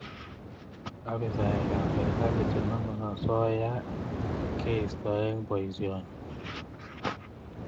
Afisaekab serkali chenomei osoya keisto eng boisioni